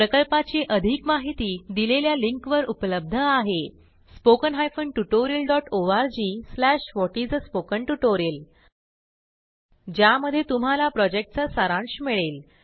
प्रकल्पाची अधिक माहिती दिलेल्या लिंकवर उपलब्ध आहेspoken tutorialorgwhat is a spoken tutorial ज्यामध्ये तुम्हाला प्रॉजेक्टचा सारांश मिळेल